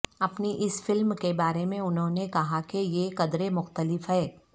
اپنی اس فلم کے بارے میں انھوں نے کہا کہ یہ قدرے مختلف ہے